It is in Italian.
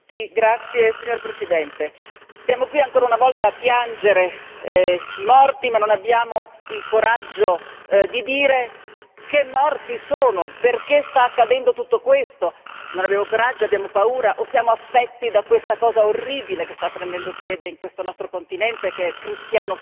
Signor Presidente, onorevoli colleghi, stiamo qui ancora una volta a piangere i morti, ma non abbiamo il coraggio di dire che morti sono, perché sta accadendo tutto questo? Non abbiamo coraggio, abbiamo paura o siamo affetti da questa cosa orribile che sta prendendo piede in questo nostro continente che è cristiano fobia?